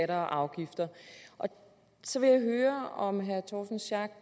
afgifter så vil jeg høre om herre torsten schack